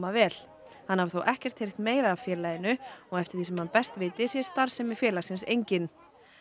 vel hann hafi þó ekkert heyrt meira af félaginu eftir því sem hann best viti sé starfsemi félagsins engin